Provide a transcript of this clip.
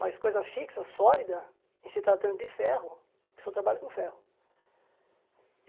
Mas coisa fixa, sólida, em se tratando de ferro, que só trabalho com ferro.